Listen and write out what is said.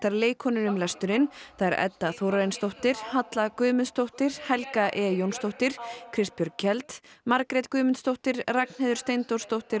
leikkonur um lesturinn þær Edda Þórarinsdóttir Halla Guðmundsdóttir Helga e Jónsdóttir Kristbjörg Kjeld Margrét Guðmundsdóttir Ragnheiður Steindórsdóttir